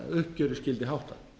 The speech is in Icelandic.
uppgjöri skyldi háttað